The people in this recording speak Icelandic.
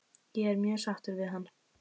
Ég er mjög sáttur við hann?